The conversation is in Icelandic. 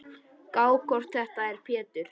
Gá hvort þetta er Pétur.